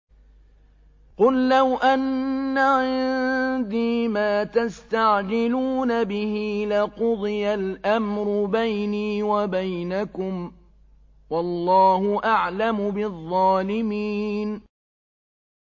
قُل لَّوْ أَنَّ عِندِي مَا تَسْتَعْجِلُونَ بِهِ لَقُضِيَ الْأَمْرُ بَيْنِي وَبَيْنَكُمْ ۗ وَاللَّهُ أَعْلَمُ بِالظَّالِمِينَ